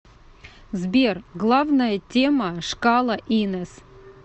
сбер главная тема шкала инес